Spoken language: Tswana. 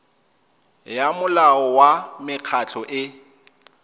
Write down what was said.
ya molao wa mekgatlho e